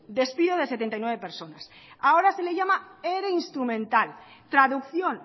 despido de setenta y nueve personas ahora se le llama ere instrumental traducción